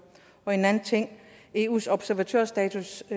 en anden ting er eus observatørstatus